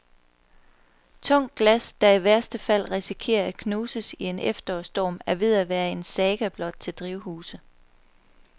Tungt glas, der i værste fald risikerer at knuses i en efterårsstorm, er ved at være en saga blot til drivhuse.